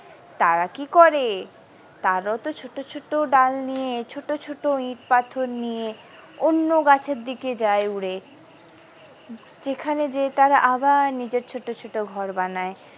তারা কি করে তারও তো ছোট ছোট ডাল নিয়ে ছোট ছোট ইট পাথর নিয়ে অন্য গাছের দিকে যাই উড়ে সেখানে গিয়ে তারা আবার নিজের ছোট ছোট ঘর বানায়।